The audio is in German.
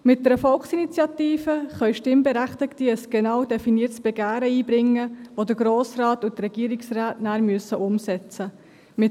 Mit einer Volksinitiative können Stimmberechtigte ein genau definiertes Begehren einbringen, welches vom Grossen Rat und vom Regierungsrat danach umgesetzt werden muss.